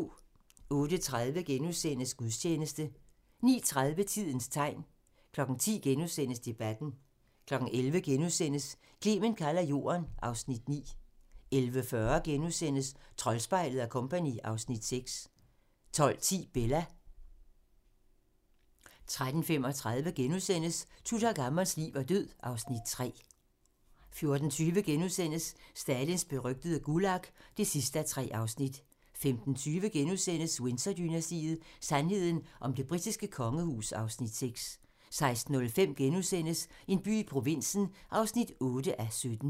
08:30: Gudstjeneste * 09:30: Tidens tegn 10:00: Debatten * 11:00: Clement kalder Jorden (Afs. 9)* 11:40: Troldspejlet & Co. (Afs. 6)* 12:10: Bella 13:35: Tutankhamons liv og død (Afs. 3)* 14:20: Stalins berygtede Gulag (3:3)* 15:20: Windsor-dynastiet: Sandheden om det britiske kongehus (Afs. 6)* 16:05: En by i provinsen (8:17)*